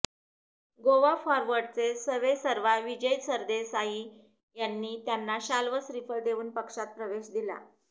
गोवा फॉरवर्डचे सवेसर्वा विजय सरदेसाई यांनी त्यांना शाल व श्रीफळ देऊन पक्षात प्रवेश दिला